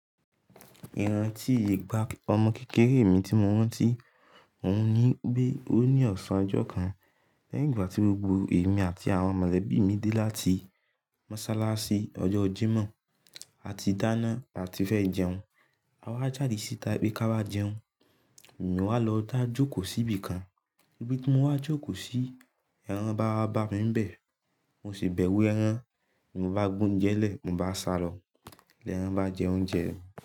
Ìran tíì egba ọmọ kékeré mi tí mo wọ́n tí mo ní pé ó ní ọ̀sán ọjọ́ kan. Lẹ́yìn ìgbà tí gbogbo èmi àti àwọn mọ̀lẹ̀bí mi dé láti mọ́sálá sí ọjọ́ Jímọ̀, a ti dáná àti fẹ́ jẹun. A wá jáde sítáì pé ka wá jẹun, èmi wà lọ dá jókòó síbì kan. Níbí tí mo wá jókòó sí, ẹran bá bá mí ń bẹ̀, mo sì bẹ̀wú ẹran, mo bá gbó oúnjẹ lẹ̀, mo bá sàrọ̀. Lẹ̀ẹ́ran bá jẹ oúnjẹ mi.